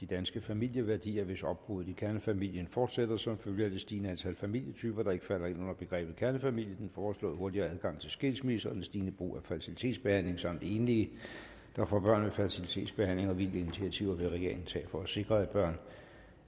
danske familieværdier hvis opbruddet i kernefamilien fortsætter som følge af det stigende antal familietyper der ikke falder ind under begrebet kernefamilie den foreslåede hurtigere adgang til skilsmisser og det stigende brug af fertilitetsbehandling samt enlige der får børn ved fertilitetsbehandling og hvilke initiativer vil regeringen tage for at sikre at børn